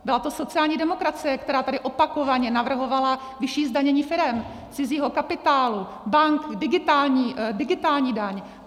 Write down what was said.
Byla to sociální demokracie, která tady opakovaně navrhovala vyšší zdanění firem, cizího kapitálu, bank, digitální daň.